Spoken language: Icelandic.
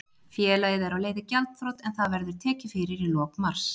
Félagið er á leið í gjaldþrot en það verður tekið fyrir í lok mars.